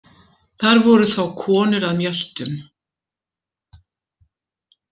Þar voru þá konur að mjöltum.